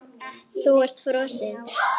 Þú ert frosin.